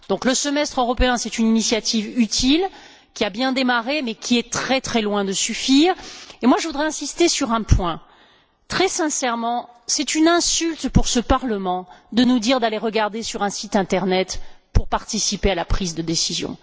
Le semestre européen est une initiative utile, qui a bien démarré, mais qui est très loin de suffire. Je voudrais insister sur un point très sincèrement, c'est une insulte pour ce Parlement de nous dire d'aller regarder sur un site internet pour participer à la prise de décision.